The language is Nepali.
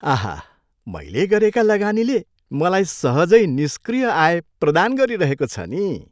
आहा, मैले गरेका लगानीले मलाई सहजै निस्क्रिय आय प्रदान गरिरहेको छ नि।